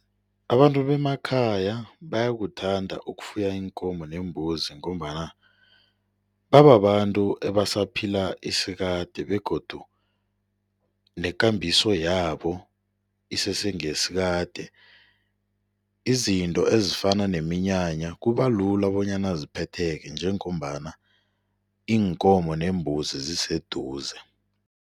Abantu bemakhaya bayakuthanda ukufuya iinkomo neembuzi ngombana bababantu ebasaphila isikade begodu nekambiso yabo isese ngeyesikade. Izinto ezifana nqeminyanya kubalula bonyana ziphetheke njengombana iinkomo neembuzi ziseduze.